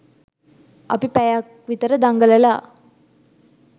අපි පැයක් විතර දඟලලා